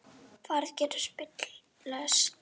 Færð getur spillst um tíma.